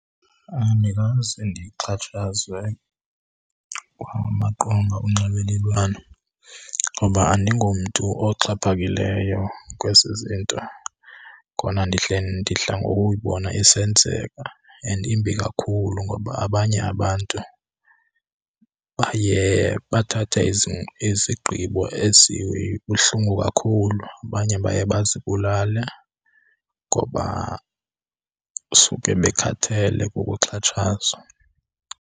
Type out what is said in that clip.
Andikaze ndixhatshazwe kwamaqonga onxibelelwano ngoba andingomntu oxhaphakileyo kwezi zinto. Kona ndidla ngokuyibona isenzeka and imbi kakhulu ngoba abanye abantu baye bathathe izigqibo ezibuhlungu kakhulu, abanye baye bazibulale ngoba suke bekhathele kukuxhatshazwa.